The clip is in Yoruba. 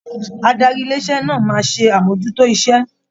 Adarí ilé iṣẹ náà máa ṣe amojuto iṣẹ.